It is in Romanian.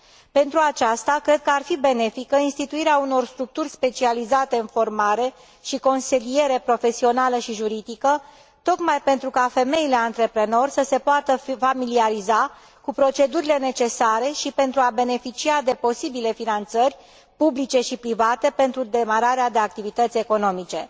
Pentru aceasta, cred că ar fi benefică instituirea unor structuri specializate în formare și consiliere profesională și juridică, tocmai pentru ca femeile antreprenor să se poată familiariza cu procedurile necesare și pentru a beneficia de posibile finanțări publice și private pentru demararea de activități economice.